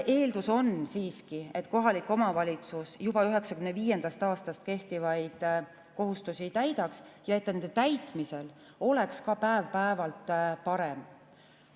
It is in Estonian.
Eeldus on siiski, et kohalik omavalitsus juba 1995. aastast kehtivaid kohustusi täidaks ja et ta nende täitmisel oleks ka päev-päevalt parem.